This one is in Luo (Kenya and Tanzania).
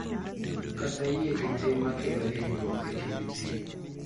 Kata yie gi tim ma kelo hinyruok e kind ji.